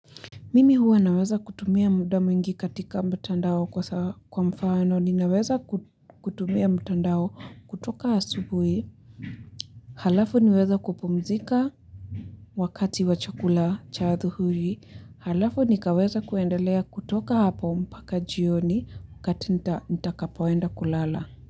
Mimi huwa naweza kutumia muda mwingi katika mtandao kwa mfano ninaweza kutumia mtandao kutoka asubui. Halafu niweze kupumzika wakati wa chakula cha hadhuhuli. Halafu nikaweze kuendelea kutoka hapo mpaka jioni wakati nitakapoenda kulala.